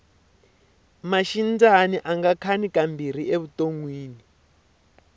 maxindyani anga khani ka mbirhi evutonwini